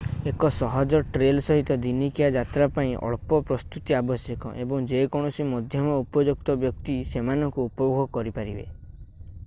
ଏକ ସହଜ ଟ୍ରେଲ୍ ସହିତ ଦିନିକିଆ ଯାତ୍ରା ପାଇଁ ଅଳ୍ପ ପ୍ରସ୍ତୁତି ଆବଶ୍ୟକ ଏବଂ ଯେକୌଣସି ମଧ୍ୟମ ଉପଯୁକ୍ତ ବ୍ୟକ୍ତି ସେମାନଙ୍କୁ ଉପଭୋଗ କରିପାରିବେ